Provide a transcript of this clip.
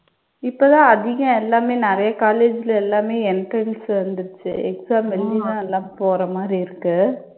இப்ப தான் அதிகம் எல்லாமே நிறைய college ல எல்லாமே entrance வந்திடுச்சு. exam எழுதித்தான் எல்லாம் போற மாதிரி இருக்கு.